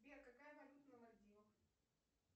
сбер какая валюта на мальдивах